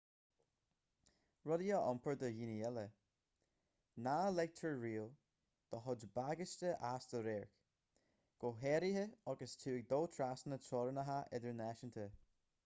rudaí a iompar do dhaoine eile ná ligtear riamh do chuid bagáiste as do radharc go háirithe agus tú ag dul trasna teorainneacha idirnáisiúnta